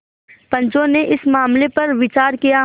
पंचो ने इस मामले पर विचार किया